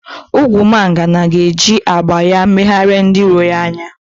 Ogwumagana ga-eji agba ya megharịa ndị iro ya anya